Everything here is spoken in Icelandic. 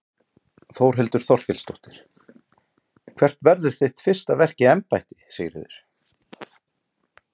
Þórhildur Þorkelsdóttir: Hvert verður þitt fyrsta verk í embætti Sigríður?